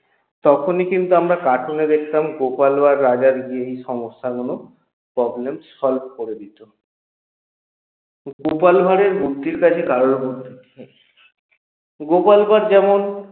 তখনি কিন্তু আমরা cartoon এ দেখতাম গোপাল ভাড় রাজার সেই সমস্যাগুলো problem solve করে দিত গোপাল ভাড়ের বুদ্ধির কাছে কারো বুদ্ধি গোপাল ভাড় যেমন